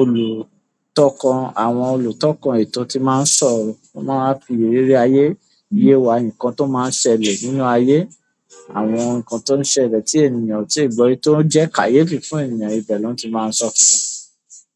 olùtọkàn, àwọn olùtọ́kàn ètò ti máa ń sọ̀rọ̀. Wọ́n máa ń fi ìrírí ayé yé wa, nǹkan tó máa ń ṣẹlẹ̀ nínú ayé. Àwọn nǹkan tó ń ṣẹlẹ̀ tí ènìyàn ò tíì gbọ́ rí tó ń jẹ́ kàyéfì fún ènìyàn, ibẹ̀ l'ọ́n ti máa sọọ́ fún wa.